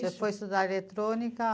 Você foi estudar eletrônica?